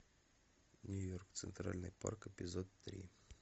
нью йорк центральный парк эпизод три